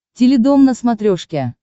теледом на смотрешке